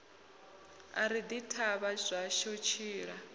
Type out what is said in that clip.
ari ḓi thavha zwashu tshiḽa